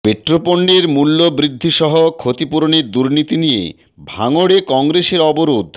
পেট্রোপণ্যের মূল্য বৃদ্ধি সহ ক্ষতিপূরণের দুর্নীতি নিয়ে ভাঙড়ে কংগ্রেসের অবরোধ